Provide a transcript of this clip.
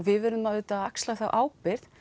við verðum auðvitað að axla þá ábyrgð